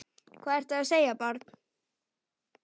Hvað ertu að segja barn?